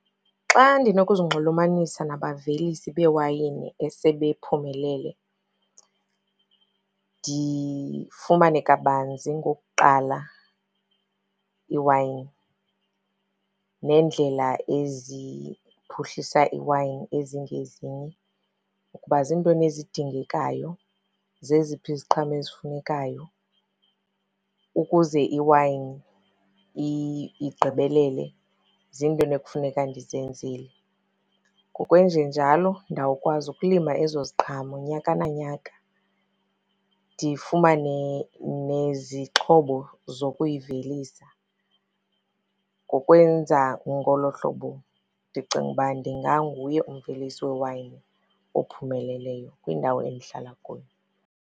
Xa ndinokuzinxulumanisa nabavelisi beewayini esebephumelele, ndifumane kabanzi ngokuqala iwayini neendlela eziphuhlisa iwayini ezingezinye ukuba ziintoni ezidingekayo, zeziphi iziqhamo ezifunekayo. Ukuze iwayini igqibelele, ziintoni ekufuneka ndizenzele. Ngokwenjenjalo ndawukwazi ukulima ezo ziqhamo nyaka na nyaka, ndifumane nezixhobo zokuyivelisa. Ngokwenza ngolo hlobo ndicinga uba ndinganguye umvelisi wewayini ophumeleleyo kwindawo endihlala kuyo.